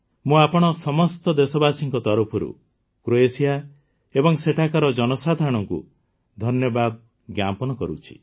ମୁଁ ଆପଣ ସମସ୍ତ ଦେଶବାସୀଙ୍କ ତରଫରୁ କ୍ରୋଏସିଆ ଏବଂ ସେଠାକାର ଜନସାଧାରଣଙ୍କୁ ଧନ୍ୟବାଦ ଜ୍ଞାପନ କରୁଛି